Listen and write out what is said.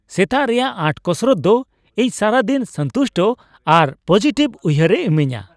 ᱥᱮᱛᱟᱜ ᱨᱮᱭᱟᱜ ᱟᱸᱴ ᱠᱚᱥᱨᱚᱛ ᱫᱚ ᱤᱧ ᱥᱟᱨᱟ ᱫᱤᱱ ᱥᱚᱱᱛᱩᱥᱴ ᱟᱨᱯᱚᱡᱤᱴᱤᱵᱷ ᱩᱭᱦᱟᱹᱨᱟ ᱤᱢᱟᱹᱧᱟ ᱾